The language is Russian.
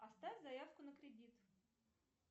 оставь заявку на кредит